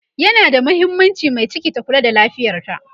yana da mahimmaanci Mai ciki ta Kula da lafiyarta